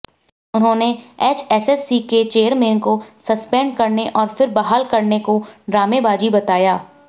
उन्होंने एचएसएससी के चेयरमैन को सस्पेंड करने और फिर बहाल करने को ड्रामेबाजी बताया